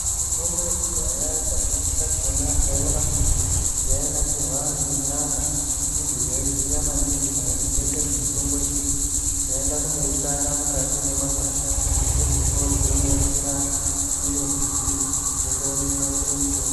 Mitombo yekudhaya kazhinji kachona taiona kuti yainasirwa ngen'anga ndidzo dzaiziya maningi maringe ngedzemitombo idzi dzaienda kundoitsvaka mukati memagwasha pedzepo dzoinasira iri mbuti yotonasira mitombo.